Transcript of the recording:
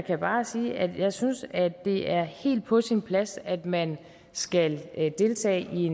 jeg bare sige at jeg synes at det er helt på sin plads at man skal deltage i